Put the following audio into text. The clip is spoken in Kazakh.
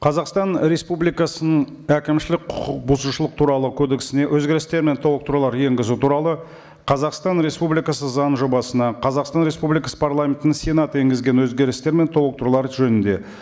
қазақстан республикасының әкімшілік құқық бұзушылық туралы кодексіне өзгерістер мен толықтырулар енгізу туралы қазақстан республикасы заң жобасына қазақстан республикасы парламентінің сенаты енгізген өзгерістер мен толықтырулар жөнінде